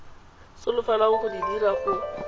solofelwang go di dira go